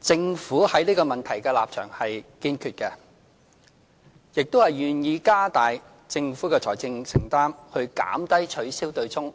政府對這個問題的立場是堅決的，亦願意加大政府的財政承擔，以減低取消對沖